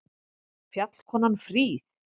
Fjallkonan fríð!